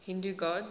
hindu gods